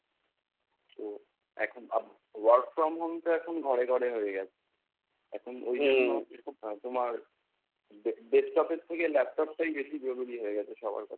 তো এখন আহ work from home তো এখন ঘরে ঘরে হয়ে গেছে। এখন ওই জন্য আহ তোমার desktop এর থেকে laptop টাই তোমার জরুরী হয়ে গেছে সবার কাছে।